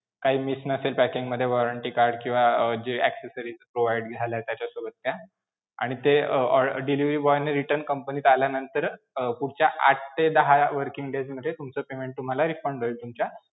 काही miss नसेल packing मध्ये warranty card अं किंवा जे accesories provide झालाय त्याच्यासोबतच्या, आणि ते अं delivery boy ने return company त आल्यानंतर अं पुढच्या आठ ते दहा working days मध्ये तुमचं payment तुम्हाला refund होईल तुमच्या